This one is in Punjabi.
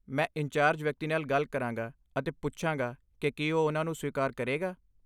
ਮੈਂ ਇੰਚਾਰਜ ਵਿਅਕਤੀ ਨਾਲ ਗੱਲ ਕਰਾਂਗਾ ਅਤੇ ਪੁੱਛਾਂਗਾ ਕਿ ਕੀ ਉਹ ਉਹਨਾਂ ਨੂੰ ਸਵੀਕਾਰ ਕਰੇਗਾ।